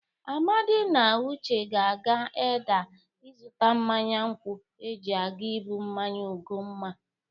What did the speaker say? Amadị na Uche ga-aga Edda ịzụta mmanya nkwọ eji aga ibụ mmanya Ugomma